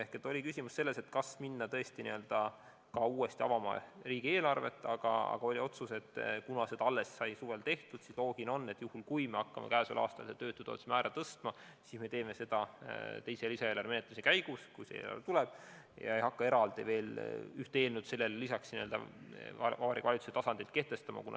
Küsimus oli selles, kas minna tõesti uuesti avama riigieelarvet, aga oli otsus, et kuna seda alles sai suvel tehtud, siis loogiline on, et juhul kui me hakkame tänavu seda töötutoetuse määra tõstma, siis me teeme seda teise lisaeelarve menetlemise käigus, kui see eelarve tuleb.